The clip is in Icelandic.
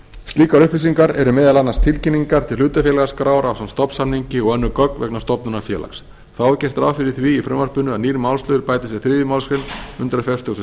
slíkar upplýsingar eru meðal annars tilkynningar til hlutafélagaskrár ásamt stofnsamningi og önnur gögn vegna stofnunar félags þá er gert ráð fyrir því í frumvarpinu að nýr málsliður bætist við þriðju málsgrein hundrað fertugasta og